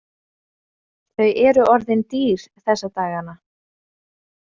Þau eru orðin dýr þessa dagana.